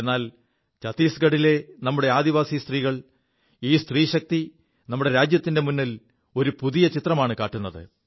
എാൽ ഛത്തീസ്ഗഢിലെ നമ്മുടെ ആദിവാസി സ്ത്രീകൾ ഈ സ്ത്രീശക്തി നമ്മുടെ രാജ്യത്തിന്റെ മുിൽ ഒരു പുതിയ ചിത്രമാണു കാുത്